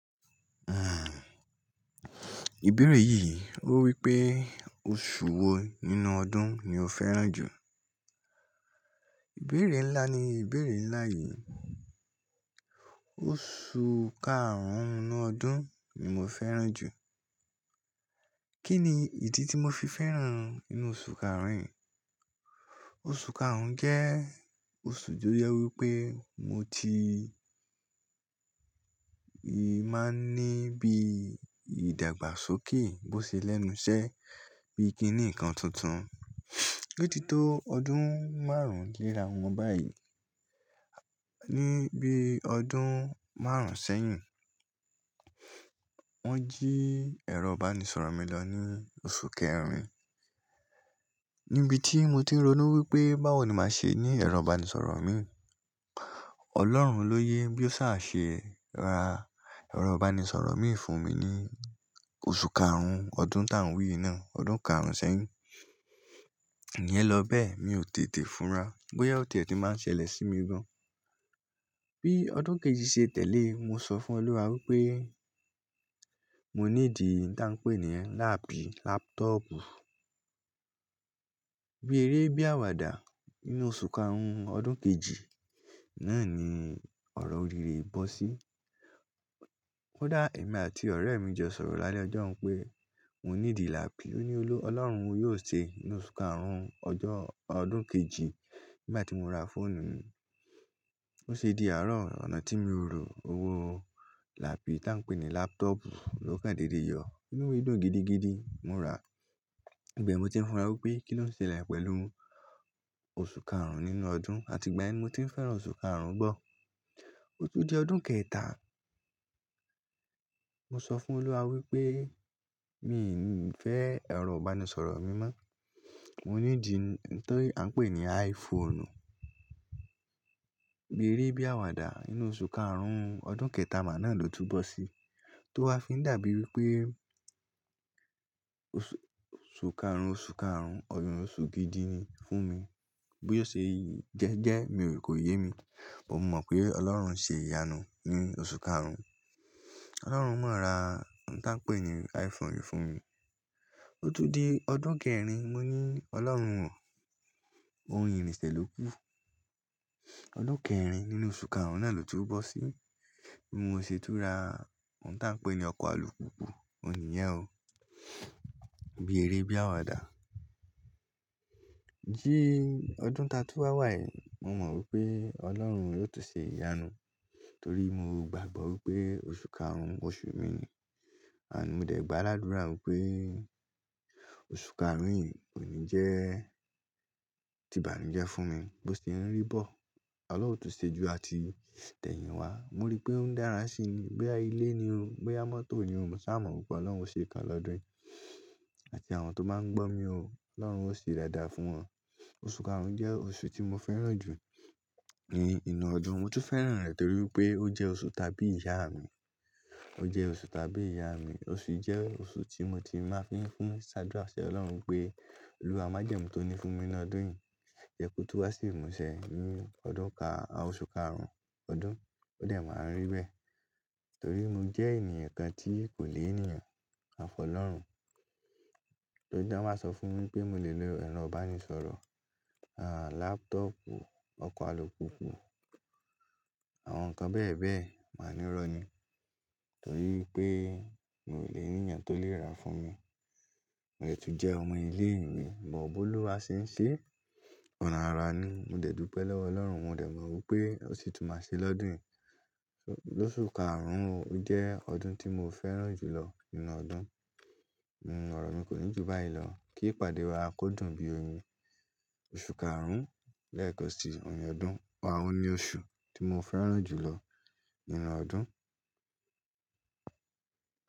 Uhm, ìbéèrè yìí ó wípé oṣù wo nínú ọdún ni o fẹ́ràn jù? Ìbéèrè ńlá ni ìbéèrè ńlá yìí. Oṣù karùn-ún nínú ọdún ni mo fẹ́ràn jù. Kí ni ìdí tí mo fi fẹ́ràn inú oṣù karùn-ún yìí? Oṣù karùn-ún jẹ́ oṣù tó jẹ wípé mo ti máa ń ní bí ìdàgbàsókè bó ṣe lẹ́nu iṣẹ́, bí i kí n ní ǹkan tuntun. Otí tó ọdún márùn-ún lẹ́ra wọn báyìí, ní bí ọdún márùn-ún sẹ́yìn, wọ́n jí ẹ̀rọ ìbánisọ̀rọ̀ mi lọ ní oṣù kẹrin. Ni ibi tí mo ti ń ronú wípé báwo ni màá ṣe ní ẹ̀rọ ìbánisọ̀rọ̀ mi. Ọlọ́run ló yé bí ó ṣà ṣe ra ẹ̀rọ ìbánisọ̀rọ̀ mi fún mi ní oṣù karùn-ún ọdún tá ń wí yi náà. Ọdún karùn-ún sẹ́yìn. Nìyẹn lọ bẹ́ẹ̀, mi ò tètè fura. Bóyá ó tiẹ̀ tí máa ń ṣẹlẹ̀ sí mi gan. Bí ọdún kejì ṣe tẹ̀lé, mo sọ fún Olúwa wípé mo needi ntan pé ni lápì, lápútọ̀pù. Bí eré, bí àwàdà nínú oṣù karùn-ún ọdún kejì náà ni ọ̀rọ̀ orire yìí bọ́ sí. Kodá èmi àti ọ̀rẹ́ mi jọ sọ̀rọ̀ lálẹ́ ọjọ́ hun pé mò needi lápì. Ó ní Olú, Ọlọ́run yóò ṣeé, nínú oṣù karùn-ún ọjọ́-- ọdún kejì nígbà tí mo ra fóònù mi. Bo ṣe dí àárọ̀, ọ̀nà tí mio rò owó lápì tá ń pé ní lápútọ̀pù ó kàn dédé yọ. Ínúmi dún gidi gidi mo rà. Ìbẹ̀ ni mo tí ń fura wípé kí ló ń ṣe lẹ̀ pẹ̀lú oṣù karùn-ún nínú ọdún, àti ìgbàyen ni mo ti ń fẹ́ràn oṣù karùn-ún bọ́. Ó tún di ọdún kẹta. Mo sọ fún Olúwa wípé mi ò ní fẹ́ ẹ̀rọ ìbánisọ̀rọ̀ mi mọ́. Mo needi n ti a ń pè ní iPhone. Bí eré, bí àwàdà nínú oṣù karùn-ún ọdún kẹta ma náà ló tún bọ́ sí. To wá fi ń dàbí wípé oṣù karùn-ún, oṣù karùn-ún eyin hun oṣù gidi ni fún mi. Bí ó ṣe jẹ́ẹ́jẹ́ mi ò kóyè mi, but mo mọ̀ pé Ọlọ́run ń ṣe ìyanu ní oṣù karùn-ún. Ọlọ́run máa ra nti an pé ní iPhone fún mi. Ó tún di ọdún kẹrin, mo ní Ọlọ́run o, óhun irinse loku ọdún kẹrin nínú oṣù karùn-ún náà ló tú n bọ́ sí. Bí mo ṣe tú n ra nti an pé ní ọkọ̀ alùpùpù, òun ní yẹn o. Bí eré, bí àwàdà. Ní ọdún ti atun wà wà yìí, mo mọ̀ wípé Ọlọ́run yóò tún ṣe ìyanu. Torí mo gbàgbọ́ wípé oṣù karùn-ún, oṣù mi ni. Àní mo dẹ̀ gbà ládùrá wípé oṣù karùn-ún yìí kò ní jẹ́ ti ìbànújẹ́ fún mi bó ti ń rí bọ̀. Ọlọ́run ó tún ṣe jù àti tẹ̀yìn wá. Mo rí pé ó ń dára sí i ni. Boyá ilé ni o. Boyá mọ́tò ni o. Mo sáa mọ̀ wípé Ọlọ́run ó ṣe ìkan ni ọdún yìí àti àwọn tó máa ń gbọ́ mi o. Ọlọ́run ó ṣe dáadáa fún wọn. Oṣù karùn-ún jẹ́ oṣù tí mo fẹ́ràn jù ní inú ọdún. Mo tún fẹ́ràn rẹ̀ torí wípé ó jẹ́ oṣù ti àbí ìyá mi. Ó jẹ́ oṣù ti àbí ìyá mi. Oṣù yìí jẹ́ oṣù tí mo ti máa ń fi fin ṣe àdúrà si Ọlọ́run pé Olúwa májẹ̀mú tó ní fún mi ní inú ọdún yìí, jẹ́ kó tún wá sí ìmúṣẹ nínú ọdún ka-- oṣù karùn-ún ọdún. Ó dẹ̀ máa n rí bẹ́ẹ̀ torí mo jẹ́ ènìyàn kan tí kò ni ènìyàn. A fi Ọlọ́run. Torí tí wọ́n bá sọ fún mi pé mo lè lo ẹ̀rọ ìbánisọ̀rọ̀, lápútọ̀pù, ọkọ̀ alùpùpù, àwọn nǹkan bẹ́ẹ̀ bẹ́ẹ̀, màá ní ìrọ́ni. Torí pé mi ò ní ènìyàn tó lè ra fún mi. Mo dè tún jẹ́ ọmọ ilé ìwé, but, bí Olúwa ṣe ń ṣe. Ọ̀nà ara ni. Mo dẹ̀ dùpẹ́ lọ́wọ́ Ọlọ́run, mo dẹ̀ mọ̀ wípé ó sì tún máa ṣe lọ́dún yìí. Ni oṣù karùn-ún ojẹ́ ọdún tí mo fẹ́ràn jù lọ nínú ọdún. Òrò mi kò ní jù báyìí lọ. Kí ìpàdé wa kọdùn bí oyún. Oṣù karùn-ún lẹ́ẹ̀kan ohun ni ọdún, ohun ni oṣù tí mo fẹ́ràn jù lọ nínú ọdún.